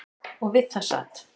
Og við það sat.